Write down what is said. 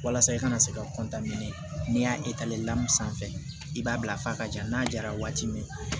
Walasa i kana se ka n'i y'a sanfɛ i b'a bila fa ka ja n'a jara waati min na